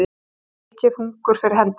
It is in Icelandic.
Það er mikið hungur fyrir hendi